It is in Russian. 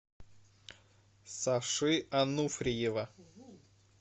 саши ануфриева